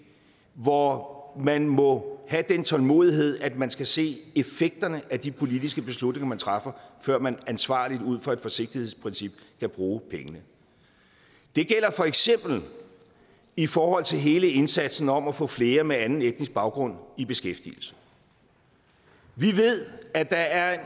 hvor man må have den tålmodighed at man skal se effekterne af de politiske beslutninger man træffer før man ansvarligt og ud fra et forsigtighedsprincip kan bruge pengene det gælder for eksempel i forhold til hele indsatsen om at få flere med anden etnisk baggrund i beskæftigelse vi ved at der er